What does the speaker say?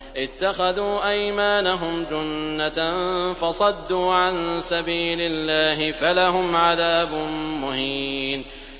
اتَّخَذُوا أَيْمَانَهُمْ جُنَّةً فَصَدُّوا عَن سَبِيلِ اللَّهِ فَلَهُمْ عَذَابٌ مُّهِينٌ